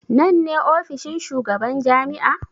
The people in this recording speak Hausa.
Nan ne ofishin shugaban jami'a?